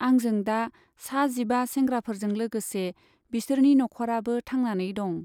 आंजों दा साजिबा सेंग्राफोरजों लोगोसे बिसोरनि नख'राबो थांनानै दं।